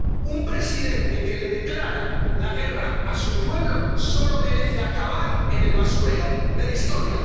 Un presidente que le declara la guerra a su pueblo solo merece acabar en el basurero de la historia.